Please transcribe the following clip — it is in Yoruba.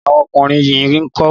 Awọn ọmọkùnrin yín ńkọ́?